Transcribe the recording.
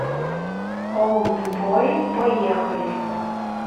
олдбой поехали